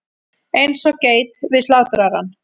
Eins og geit við slátrarann.